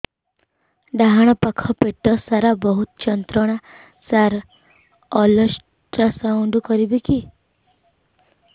ଡାହାଣ ପାଖ ପେଟ ସାର ବହୁତ ଯନ୍ତ୍ରଣା ସାର ଅଲଟ୍ରାସାଉଣ୍ଡ କରିବି କି